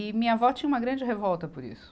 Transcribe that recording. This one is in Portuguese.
E minha avó tinha uma grande revolta por isso.